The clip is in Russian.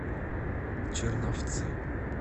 черновцы